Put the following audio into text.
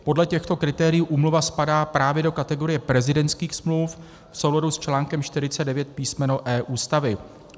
Podle těchto kritérií úmluva spadá právě do kategorie prezidentských smluv v souladu s článkem 49 písm. e) Ústavy.